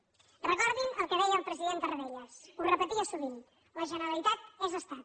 recordin el que deia el president tarradellas ho repetia sovint la generalitat és estat